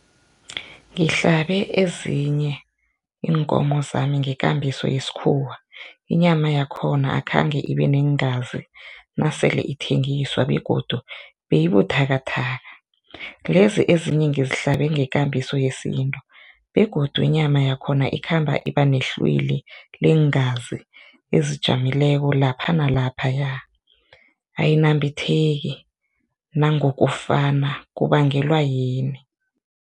Ngihlabe ezinye iinkomo zami ngekambiso yesikhuwa inyama yakhona akhange ibe neengazi nasele ithengiswa begodu beyibuthakathaka, lezi ezinye ngizihlabe ngekambiso yesintu begodu inyama yakhona ikhamba iba nehlwili leengazi ezijamileko lapha nalaphaya, ayinambitheki nangokufana, kubangelwa yini?